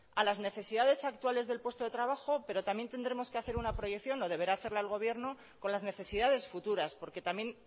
a las necesidades actuales del puesto de trabajo pero también tendremos que hacer una proyección o deberá hacerla el gobierno con las necesidades futuras porque también